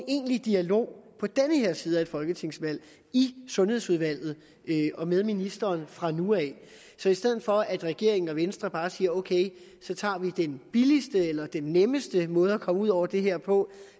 i egentlig dialog på den her side af et folketingsvalg i sundhedsudvalget og med ministeren fra nu af så i stedet for at regeringen og venstre bare siger ok så tager vi den billigste eller den nemmeste måde at komme ud over det her på